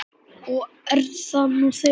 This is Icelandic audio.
Og er það nú þegar.